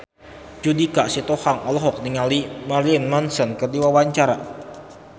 Judika Sitohang olohok ningali Marilyn Manson keur diwawancara